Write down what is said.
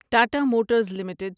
Tata motors limited